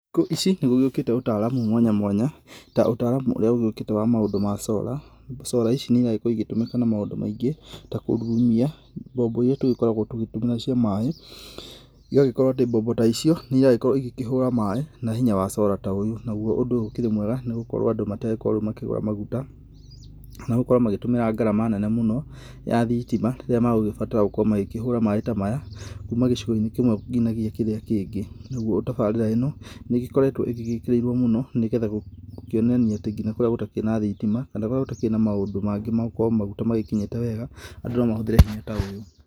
Thikũ ici nĩ gũgĩũkĩte ũtaramu mwanya mwanya, ta ũtaramu ũrĩa ũgĩũkĩte wa maũndũ ma Solar. Solar ici nĩ iragĩkorwo igĩtũmĩka na maũndũ maingĩ, ta kũrurumia mbombo iria tũgĩkoragwo tũgĩtũmĩra cia maĩ igagĩkorwo atĩ mbombo ta icio, nĩ iragĩkorwo igĩkĩhũra maĩ na hinya wa solar ta ũyũ, naguo ũndũ ũyũ ũkĩrĩ mwega nĩ gũkorwo andũ matirĩgĩkoragwo rĩu makĩgũra maguta, kana gũkorwo magĩtũmĩra ngarama nene mũno ya thitima rĩrĩa magũgĩbatara gũkorwo magĩkĩhũra maĩ ta maya, kuma gĩcigo-inĩ kĩmwe nginyagia kĩrĩa kĩngĩ. Naguo tabarĩra ĩno, nĩ ĩgĩkoretwo ĩgĩgĩkĩrĩirwo mũno nĩgetha gũkĩonania atĩ nginya kũrĩa gũtakĩrĩ na thitima kana kũrĩa gũtakĩrĩ na maũndũ mangĩ ma gũkorwo maguta magĩkinyĩte wega, andũ no mahũthĩre hinya ta ũyũ.